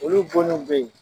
Olu bonniw beyi.